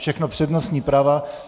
Všechno přednostní práva.